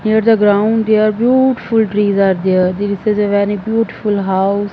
here the ground here beautiful trees are there this is a very beautiful house.